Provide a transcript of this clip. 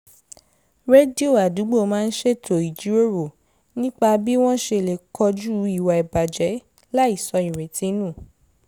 rédíò àdúgbò máa ń ṣètò ìjíròrò nípa b́ wọ́n ṣe lè kojú ìwà ìbàjẹ́ láìsọ ìrètí nù